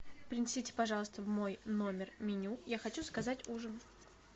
принесите пожалуйста в мой номер меню я хочу заказать ужин